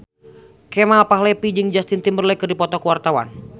Kemal Palevi jeung Justin Timberlake keur dipoto ku wartawan